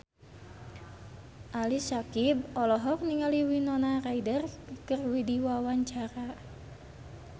Ali Syakieb olohok ningali Winona Ryder keur diwawancara